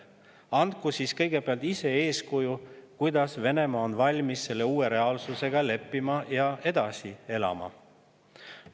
Näidaku siis kõigepealt ise eeskuju, kuidas Venemaa on valmis selle uue reaalsusega leppima ja edasi elama.